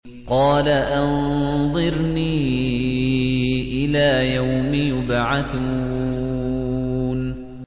قَالَ أَنظِرْنِي إِلَىٰ يَوْمِ يُبْعَثُونَ